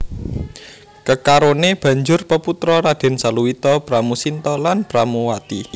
Kekarone banjur peputra Raden Saluwita Pramusinta lan Pramuwati